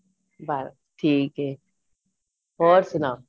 ਬੱਸ ਠੀਕ ਏ ਹੋਰ ਸੁਨਾਉ